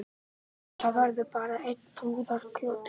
En það verður bara einn brúðarkjóll